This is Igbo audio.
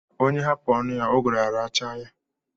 Onye hapụ ọnụ ya, ụgụrụ̀ arachaa ya.